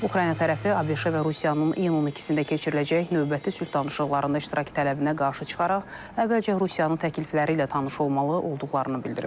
Ukrayna tərəfi ABŞ və Rusiyanın iyun 12-də keçiriləcək növbəti sülh danışıqlarında iştirak tələbinə qarşı çıxaraq əvvəlcə Rusiyanın təklifləri ilə tanış olmalı olduqlarını bildirib.